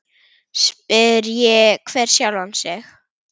Spyrji hver sjálfan sig.